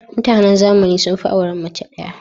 Mutanen zamani sun fi auren mace ɗaya.